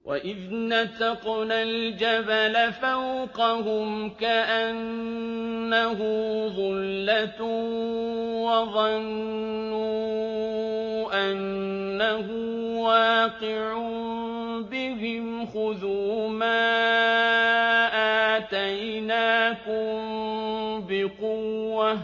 ۞ وَإِذْ نَتَقْنَا الْجَبَلَ فَوْقَهُمْ كَأَنَّهُ ظُلَّةٌ وَظَنُّوا أَنَّهُ وَاقِعٌ بِهِمْ خُذُوا مَا آتَيْنَاكُم بِقُوَّةٍ